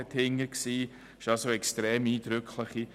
Die Gebäudeeinheit ist extrem eindrücklich.